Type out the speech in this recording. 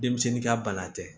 Denmisɛnnin ka bana tɛ